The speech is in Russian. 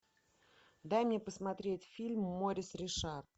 дай мне посмотреть фильм морис ришар